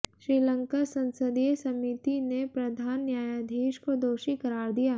श्रीलंकाः संसदीय समिति ने प्रधान न्यायाधीश को दोषी करार दिया